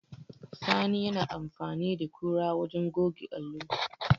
Sani yana amfani da kura wajen goge allo.